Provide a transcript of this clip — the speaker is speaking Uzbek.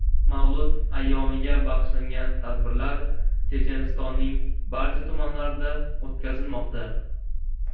Mavlud ayyomiga bag‘ishlangan tadbirlar Chechenistonning barcha tumanlarida o‘tkazilmoqda.